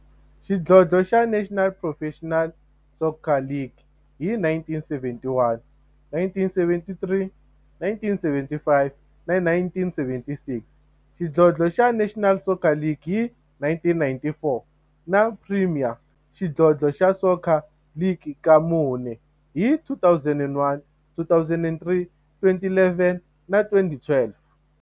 Xidlodlo xa National Professional Soccer League hi 1971, 1973, 1975 na 1976, xidlodlo xa National Soccer League hi 1994, na Premier Xidlodlo xa Soccer League ka mune, hi 2001, 2003, 2011 na 2012.